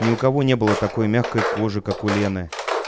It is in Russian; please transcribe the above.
ни у кого не было такой мягкой кожи как у лены